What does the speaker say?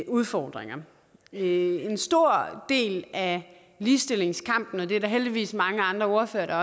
udfordringer en stor del af ligestillingskampen det er der heldigvis også mange andre ordførere